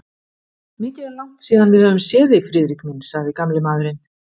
Mikið er langt síðan við höfum séð þig, Friðrik minn sagði gamli maðurinn.